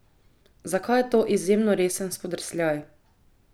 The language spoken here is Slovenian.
Zakaj je to izjemno resen spodrsljaj?